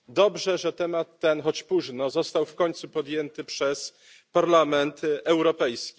Dobrze, że temat ten choć późno został w końcu podjęty przez Parlament Europejski.